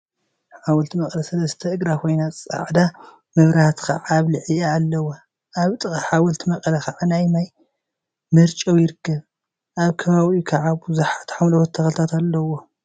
ሓወልቲ መቀለ ሰለስተ እግራ ኮይና ፃዕዳ መብራህቲ ከዓ አብ ልዕሊአ አለዋ፡፡ አብ ጥቃ ሓወልቲ መቀለ ከዓ ናይ ማይ መርጨዊ ይርከብ፡፡ አብ ከባቢኡ ከዓ ቡዙሓት ሓምለዎት ተክሊታት አለዎም፡፡